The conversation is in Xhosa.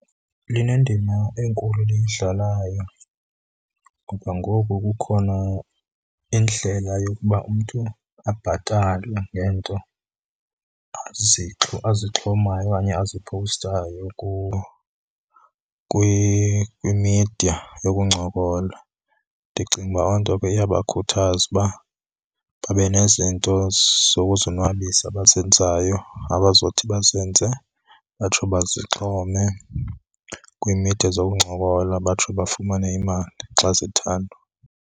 Linendima enkulu eliyidlalayo, ngoba ngoku kukhona indlela yokuba umntu abhatalwe ngeento azixhomayo okanye azipowustayo kwimidiya yokuncokola. Ndicinga uba oo nto ke iyabakhuthaza uba babe nezinto zokuzonwabisa abazenzayo abazothi bazenze batsho bazixhome kwiimidiya zokuncokola, batsho bafumane imali xa zithandwa.